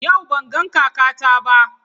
Yau ban ga kakata ba.